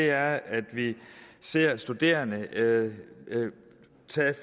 er at vi ser studerende tage